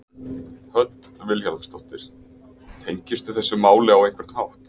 Hödd Vilhjálmsdóttir: Tengistu þessu máli á einhvern hátt?